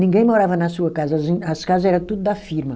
Ninguém morava na sua casa, as in, as casa era tudo da firma.